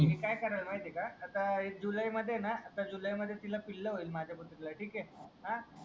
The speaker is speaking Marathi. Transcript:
मी काय करेल माहीत आहे का आता जुलै मध्ये आहे ना जुलै मध्ये तिला पिल होईल माझ्या कुत्री ल ठीक आहे अं